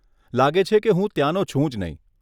લાગે છે કે હું ત્યાનો છું જ નહીં.